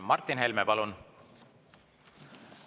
Martin Helme, palun!